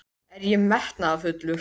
Er ég metnaðarfullur?